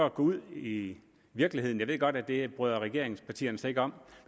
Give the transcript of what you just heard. at gå ud i i virkeligheden jeg ved godt at det bryder regeringspartierne sig ikke om